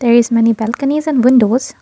there is many balconys and windows.